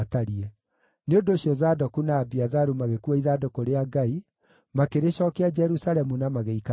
Nĩ ũndũ ũcio Zadoku na Abiatharu magĩkuua ithandũkũ rĩa Ngai, makĩrĩcookia Jerusalemu na magĩikara kuo.